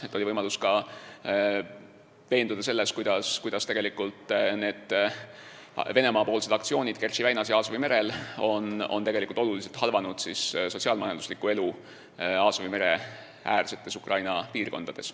Mul oli ka võimalus veenduda selles, et Venemaa aktsioonid Kertši väinas ja Aasovi merel on tegelikult suurel määral halvanud sotsiaal-majandusliku elu Aasovi mere äärsetes Ukraina piirkondades.